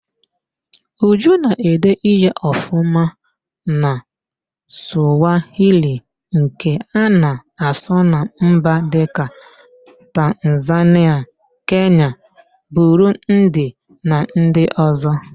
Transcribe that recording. Uju na-ede ihe ọfụma na Sụwahili nke a na-asụ na mba dịka: Tanzanịa, Kenya, Burundi na ndị ọzọ